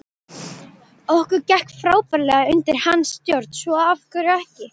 Okkur gekk frábærlega undir hans stjórn svo af hverju ekki?